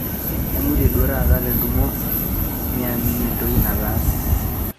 aimutie duo taata te ntumo miamini entoki nataase